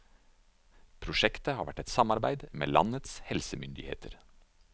Prosjektet har vært et samarbeid med landets helsemyndigheter.